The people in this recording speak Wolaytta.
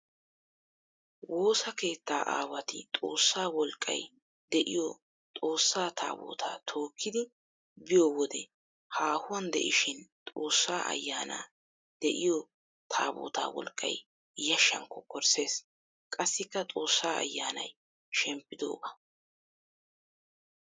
Woosa keetta aawatti xoosa wolqqay de'iyo Xoosa Taabbotta tookkiddi biyo wode haahuwan de'ishin Xoosa ayanna de'iyo Taabbotawu wolqqay yashan kokkorisses. Qassikka xoosa ayannay shemppidooga.